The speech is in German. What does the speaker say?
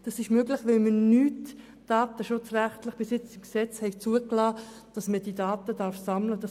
Das ist möglich, weil wir bisher aus Datenschutzgründen im Gesetz nicht zugelassen haben, dass wir diese Daten sammeln dürfen.